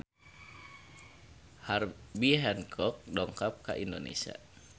Herbie Hancock dongkap ka Indonesia